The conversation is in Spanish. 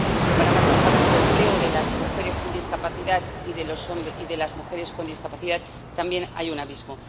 Si comparamos las tasas de empleo de las mujeres sin discapacidad y de las mujeres con discapacidad también hay un abismo